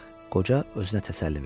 Qoca özünə təsəlli verdi.